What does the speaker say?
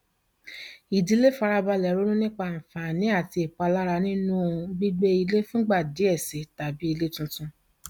ìdílé fara balẹ ronú nípa àǹfààní àti ìpalára nínú gbígbé ilé fún ìgbà díẹ sí i tàbí ilé tuntun